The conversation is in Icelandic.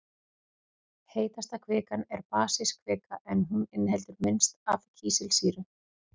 Heitasta kvikan er basísk kvika en hún inniheldur minnst af kísilsýru.